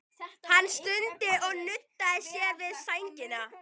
Hann stundi og nuddaði sér við sængina.